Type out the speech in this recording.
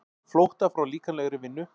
Flótta frá líkamlegri vinnu.